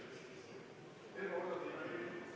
Aitäh!